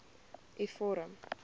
u vorm